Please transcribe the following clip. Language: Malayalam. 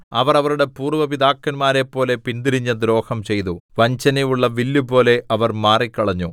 അവർ അവരുടെ പൂര്‍വ്വ പിതാക്കന്മാരെപ്പോലെ പിന്തിരിഞ്ഞ് ദ്രോഹം ചെയ്തു വഞ്ചനയുള്ള വില്ലുപോലെ അവർ മാറിക്കളഞ്ഞു